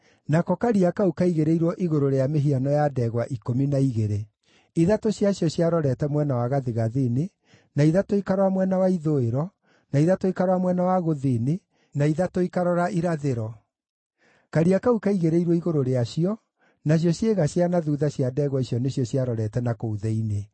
Nako Karia kau kaigĩrĩirwo igũrũ rĩa mĩhiano ya ndegwa ikũmi na igĩrĩ: ithatũ ciacio ciarorete mwena wa gathigathini, na ithatũ ikarora mwena wa ithũĩro, na ithatũ ikarora mwena wa gũthini, ithatũ ikarora irathĩro. Karia kau kaigĩrĩirwo igũrũ rĩacio, nacio ciĩga cia na thuutha cia ndegwa icio nĩcio ciarorete na kũu thĩinĩ.